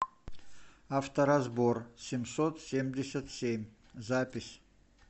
авторазбор семьсот семьдесят семь запись